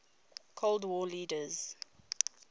cold war leaders